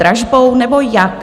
Dražbou, nebo jak?